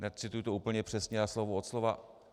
Necituji to úplně přesně a slovo od slova.